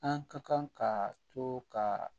An ka kan ka to ka